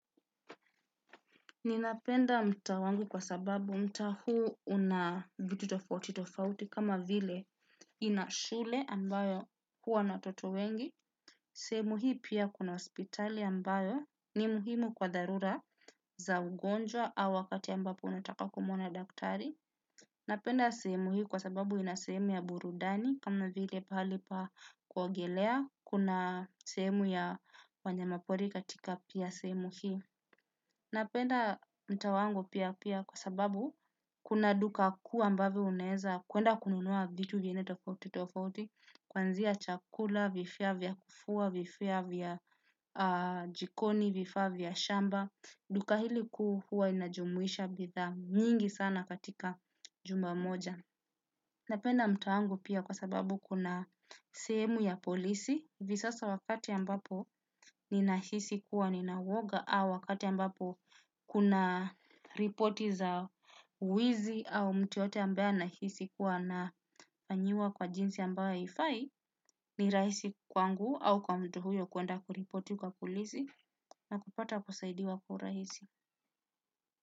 Ninapenda mtaa wangu kwa sababu mtaa huu una vitu tofauti tofauti kama vile ina shule ambayo huwa na watoto wengi. Sehemu hii pia kuna hospitali ambayo ni muhimu kwa dharura za ugonjwa au wakati ambapo unataka kumona daktari. Napenda sehemu hii kwa sababu ina sehemu ya burudani kama vile pahali pa kuogelea, kuna sehemu ya wanyama pori katika pia sehemu hii. Napenda mtaa wangu pia pia kwa sababu kuna duka kuu ambavyo unaweza kwenda kununua vitu vingine tofauti tofauti. Kuanzia chakula, vifaa vya kufua, vifaa vya jikoni, vifaa vya shamba. Duka hili kuu huwa inajumuisha bidhaa nyingi sana katika jumba moja. Napenda mtawangu pia kwa sababu kuna sehmu ya polisi hivi sasa wakati ambapo ninahisi kuwa nina uoga au wakati ambapo kuna ripoti za wizi au mtu yeyote ambaye anahisi kuwa anafanyiwa kwa jinsi ambayo haifai ni rahisi kwangu au kwa mtu huyo kwenda kuripoti kwa polisi na kupata kusaidiwa kwa urahisi.